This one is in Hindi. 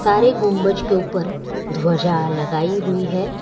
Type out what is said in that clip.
हर एक गुंबज के ऊपर ध्वजा लगाई हुई है।